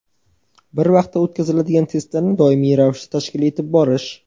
bir vaqtda o‘tkaziladigan testlarni doimiy ravishda tashkil etib borish.